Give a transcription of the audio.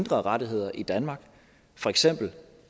rettigheder i danmark for eksempel